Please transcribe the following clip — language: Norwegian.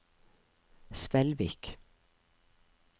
Svelvik